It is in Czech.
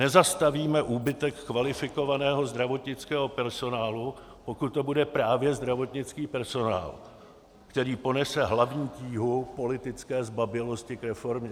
Nezastavíme úbytek kvalifikovaného zdravotnického personálu, pokud to bude právě zdravotnický personál, který ponese hlavní tíhu politické zbabělosti k reformě.